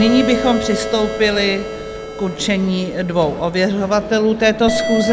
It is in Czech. Nyní bychom přistoupili k určení dvou ověřovatelů této schůze.